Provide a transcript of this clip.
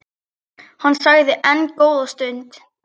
Hann þagði enn góða stund.